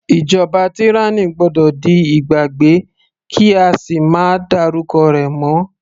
Ìjọba tyranny gbọ́dọ̀ di ìgbàgbé kí á sì máa dárúkọ rẹ̀ mọ́.